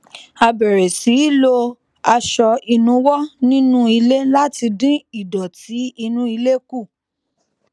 a bèrè sí í lo aṣọ ìnuwọ ní nú ilé láti dín ìdòtí inú ilé kù